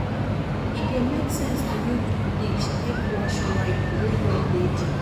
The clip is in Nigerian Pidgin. E dey make sense to use bleach take wash white wey don dirty